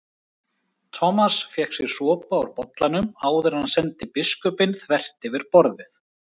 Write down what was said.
Thomas fékk sér sopa úr bollanum áður en hann sendi biskupinn þvert yfir borðið.